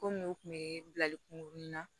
Komi u tun bɛ bilali kungurunna